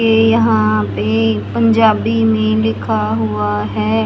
ये यहाँ पे पंजाबी में लिखा हुआ है।